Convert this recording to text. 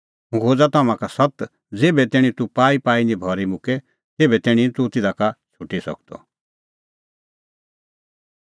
हुंह खोज़ा तम्हां का सत्त ज़ेभै तैणीं तूह पाईपाई नां भरी मुक्के तेभै तैणीं निं तूह तिधा का छ़ुटी सकदअ